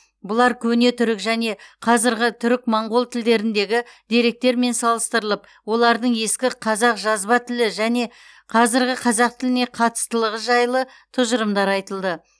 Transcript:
бұлар көне түрік және қазіргі түрік моңғол тілдеріндегі деректермен салыстырылып олардың ескі қазақ жазба тілі және қазіргі қазақ тіліне қатыстылығы жайлы тұжырымдар айтылды